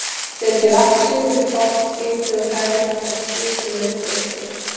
Setjið vatn og sykur í pott, hitið og hrærið þangað til sykurinn er uppleystur.